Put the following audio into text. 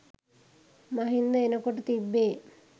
මහින්ද එනකොට තිබ්බෙ.